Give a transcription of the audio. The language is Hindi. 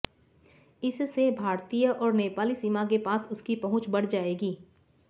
इससे भारतीय और नेपाली सीमा के पास उसकी पहुंच बढ़ जाएगी